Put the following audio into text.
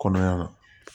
Kɔnɔɲa